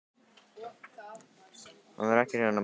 Hann var ekki hrifinn af Bellu.